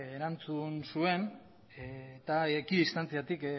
erantzun zuen eta ekidistantziatik